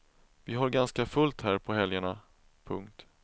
Vi har ganska fullt här på helgerna. punkt